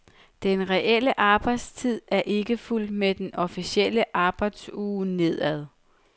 Den reelle arbejdstid er ikke fulgt med den officielle arbejdsuge nedad.